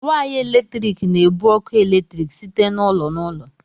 Way eletrik na-ebu ọkụ eletrik site n'ụlọ na ụlọ. "